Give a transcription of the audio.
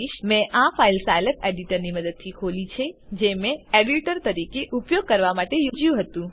મેં આ file Scilab એડિટરની મદદથી ખોલી છે જે મેં એડિટર તરીકે ઉપયોગ કરવા માટે યોજ્યું હતું